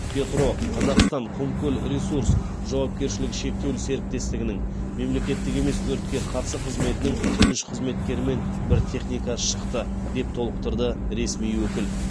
петроқазақстанқұмкөлресурс жауапкершілігі шектеулі серіктестігінің мемлекеттік емес өртке қарсы қызметінің үш қызметкері мен бір техникасы шықты деп толықтырды ресми өкіл